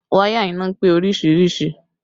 Wáyà iná pé oríṣiríṣìí